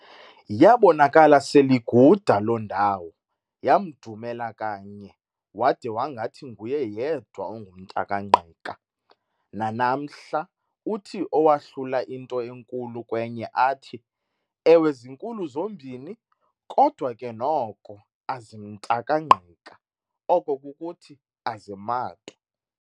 Yaabonakala sel'iguda loo ndawo, yamdumela kanye, wade wangathi nguye yedwa ongumntakaNgqika. Nanamhla uthi owahlula into enkulu kwenye athi- "Ewe zinkulu zombini, kodwa ke noko "azimntakangqik"a, oko kukuthi, "aziMatwa"."